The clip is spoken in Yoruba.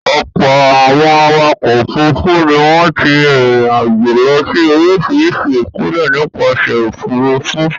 Ọ̀pọ̀ àwọn awakọ̀ òfurufú ni wọ́n ti rìnrìn-àjò lọ sí oríṣiríṣi ìpínlẹ̀ nípasẹ̀ òfurufú.